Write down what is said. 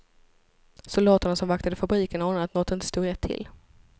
Soldaterna som vaktade fabriken anade att något inte stod rätt till.